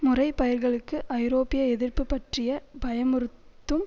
முறை பயிர்களுக்கு ஐரோப்பிய எதிர்ப்பு பற்றிய பயமுறுத்தும்